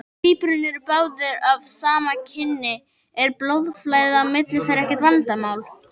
Ef tvíburarnir eru báðir af sama kyni er blóðflæði á milli þeirra ekkert vandamál.